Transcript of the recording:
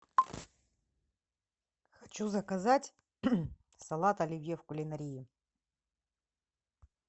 хочу заказать салат оливье в кулинарии